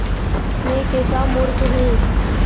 मैं कैसा मूर्ख हूँ